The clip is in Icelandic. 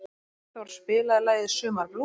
Friðþór, spilaðu lagið „Sumarblús“.